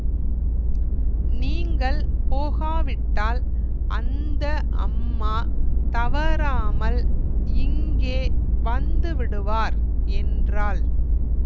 நீங்கள் போகாவிட்டால் அந்த அம்மா தவறாமல் இங்கே வந்துவிடுவார் என்றாள்